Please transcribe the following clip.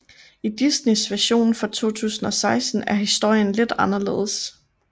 I Disneys version fra 2016 er historien lidt anderledes